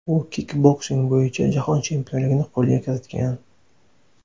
U kikboksing bo‘yicha jahon chempionligini qo‘lga kiritgan.